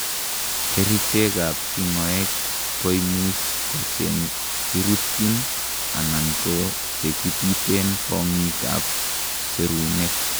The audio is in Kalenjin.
kerichek ab tingoek koimuch kochekirutyin anan kochekipiten kongiik ab serunek